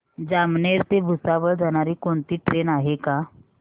जामनेर ते भुसावळ जाणारी कोणती ट्रेन आहे का